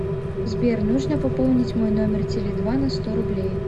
сбер нужно пополнить мой номер теле два на сто рублей